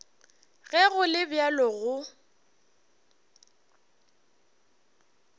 ge go le bjalo go